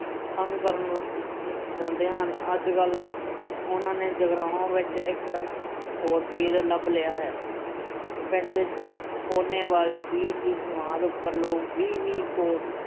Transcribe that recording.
ਕਰਨ ਜਾਂਦੇ ਹਨ। ਅੱਜ ਕੱਲ੍ਹ ਉਹਨਾਂ ਨੇ ਜਗਰਾਉਂ ਵਿੱਚ ਇੱਕ ਹੋਰ ਪੀਰ ਲੱਭ ਲਿਆ ਹੈ। ਪਿੰਡ ਦੇ ਅਹ ਵਾਲੇ ਪੀਰ ਦੀ ਸਮਾਧ ਉੱਪਰ ਲੋਕ ਵੀਹ-ਵੀਹ ਕੋਹ